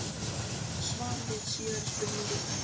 Svar við síðari spurningu: